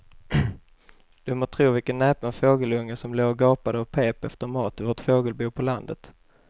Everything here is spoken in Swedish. Du må tro vilken näpen fågelunge som låg och gapade och pep efter mat i vårt fågelbo på landet.